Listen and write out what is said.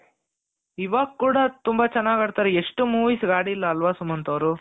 ಇವಾಗ ಕೂಡ ತುಂಬಾ ಚೆನ್ನಾಗ್ ಆಡ್ತಾರೆ ಎಷ್ಟು movies ಗೆ ಅಡಿಲ್ಲ ಅಲ್ವಾ ಸುಮಂತ್ ಅವ್ರು